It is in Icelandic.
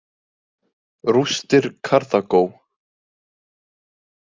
Rústir Karþagó.